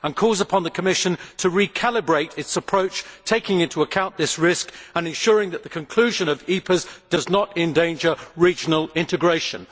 It also called upon the Commission to recalibrate its approach, taking into account this risk and ensuring that the conclusion of EPAs does not endanger regional integration.